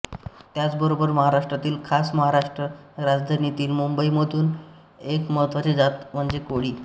त्याचबरोबर महाराष्ट्रातील खास महाराष्ट्राच्या राजधानीतील मुंबईमधील एक महत्त्वाची जात म्हणजे कोळी